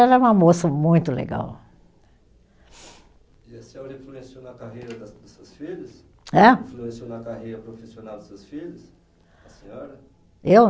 Ela é uma moça muito legal. E a senhora influenciou na carreira das dos seus filhos? Hã? Influenciou na carreira profissional dos seus filhos, a senhora? Eu?